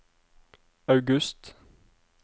august